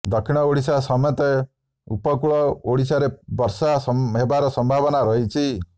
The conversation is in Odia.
ଦକ୍ଷିଣ ଓଡ଼ିଶା ସମେତଉ ପକୂଳ ଓଡ଼ିଶାରେ ବର୍ଷା ହେବାର ସମ୍ଭାବନା ରହିଛି